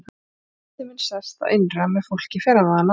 Ef andi minn sest að innra með fólki fer hann þaðan aldrei.